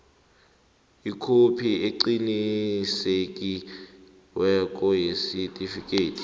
ikhophi eqinisekisiweko yesitifikhethi